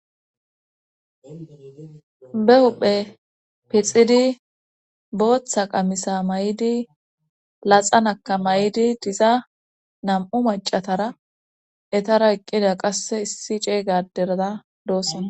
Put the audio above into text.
Be huhphe pixidi booththa qamisa may'idi laxanaka mayidi diza nam'u macatara etara eqqida qasse issi ceeygaderada doossona.